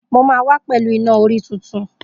Mo máa wá pẹ̀lú Iná-orí tuntun.